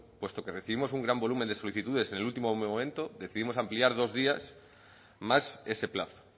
puesto que recibimos un gran volumen de solicitudes en el último momento decidimos ampliar dos días más ese plazo